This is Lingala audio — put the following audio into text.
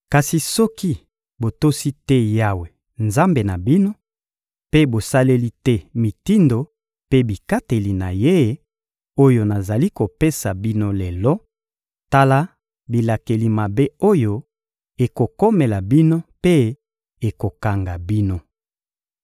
Kasi soki botosi te Yawe, Nzambe na bino, mpe bosaleli te mitindo mpe bikateli na Ye, oyo nazali kopesa bino lelo, tala bilakeli mabe oyo ekokomela bino mpe ekokanga bino: